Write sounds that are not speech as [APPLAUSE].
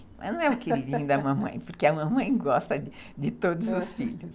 Mas não é o queridinho da mamãe, [LAUGHS] porque a mamãe gosta de todos os filhos.